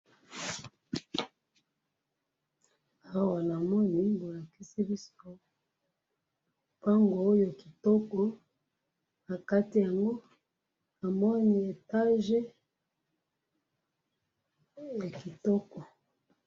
awa namoni bolakisi biso lupangu oyo kitoko nakati yango namoni etage ya kitoko